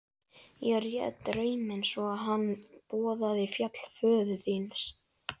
Ég réð drauminn svo að hann boðaði fall föður þíns.